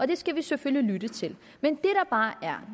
det skal vi selvfølgelig lytte til men